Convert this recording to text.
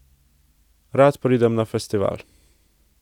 Rad pridem na festival.